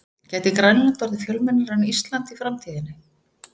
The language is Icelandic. Gæti Grænland orðið fjölmennara en Ísland í framtíðinni?